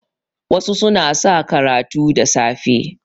wasu suna sa karatu da safe